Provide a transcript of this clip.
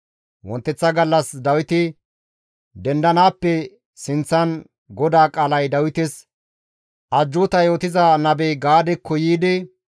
Wonteththa gallas Dawiti dendanaappe sinththan GODAA qaalay Dawites ajjuuta yootiza nabey Gaadekko yiidi,